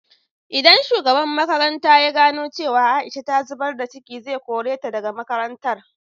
Idan shugaban makarantan ya gano cewa Aisha ta zubar da ciki, zai kore ta da ga makarantar.